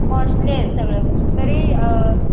आहेत सगळ्या गोष्टी तरी